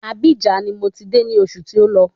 Abíjan ni mò ti de ní osù tí ó lọ